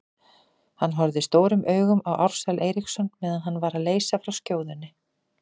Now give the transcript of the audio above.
Hann horfði stórum augum á Ársæl Eiríksson meðan hann var að leysa frá skjóðunni.